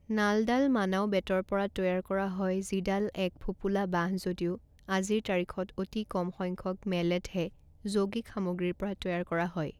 নালডাল মানাউ বেতৰ পৰা তৈয়াৰ কৰা হয় যিডাল এক ফোঁপোলা বাঁহ যদিও আজিৰ তাৰিখত অতি কম সংখ্যক মেলেটহে যৌগিক সামগ্ৰীৰ পৰা তৈয়াৰ কৰা হয়।